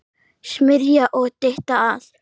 Smyrja og dytta að.